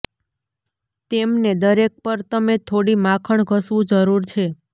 તેમને દરેક પર તમે થોડી માખણ ઘસવું જરૂર છે